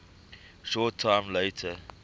short time later